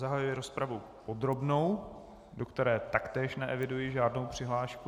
Zahajuji rozpravu podrobnou, do které taktéž neeviduji žádnou přihlášku.